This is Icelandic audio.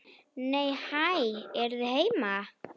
Nei, hæ, eruð þið heima!